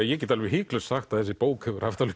ég get alveg hiklaust sagt að þessi bók hefur haft alveg